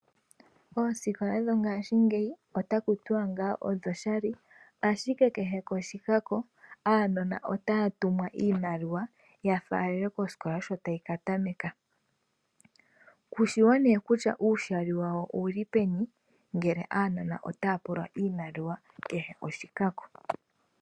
Ooskola dho ngashingeyi otaku tiwa ngaa odho shali, ashike kehe koshikako aanona otaya tumwa iimaliwa ya falele koskola sho tayi katameka. Kushiwo nee kutya uushali wawo ouli peni ngele aanona otaya pulwa iimaliwa kehe oshikako .